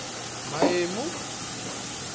maemu